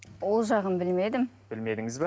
ол жағын білмедім білмедіңіз бе